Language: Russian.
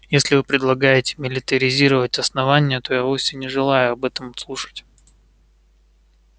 если вы предлагаете милитаризировать основание то я вовсе не желаю об этом слушать